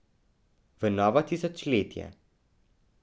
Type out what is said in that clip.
V novo tisočletje.